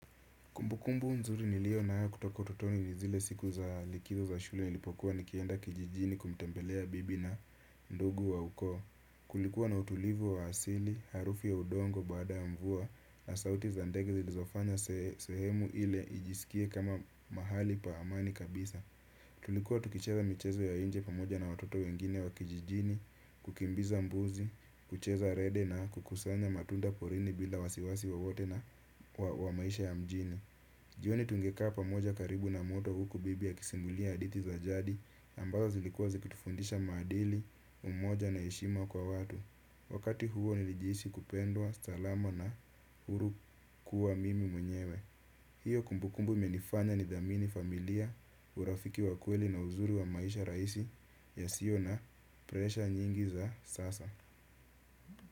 Kumbukumbu nzuri niliyo nayo kutoka utotoni ni zile siku za likizo za shule nilipokuwa nikienda kijijini kumtembelea bibi na ndugu wa ukoo. Kulikuwa na utulivu wa asili, harufu ya udongo baada ya mvua na sauti za ndege zilizofanya sehemu ile ijisikie kama mahali pa amani kabisa. Tulikuwa tukicheza michezo ya nje pamoja na watoto wengine wa kijijini, kukimbiza mbuzi, kucheza rede na kukusanya matunda porini bila wasiwasi wowote na wa maisha ya mjini. Jioni tungekaa moja karibu na moto huku bibi akisimulia hadithi za jadi ambazo zilikuwa zikitufundisha maadili umoja na heshima kwa watu wakati huo nilijihisi kupendwa salama na huru kuwa mimi mwenyewe hiyo kumbukumbu imenifanya nidhamini familia urafiki wa kweli na uzuri wa maisha rahisi yasiyo na presha nyingi za sasa.